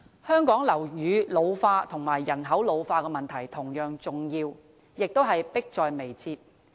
香港樓宇老化和人口老化的問題同樣重要，亦是迫在眉睫的。